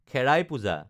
খেৰাই পূজা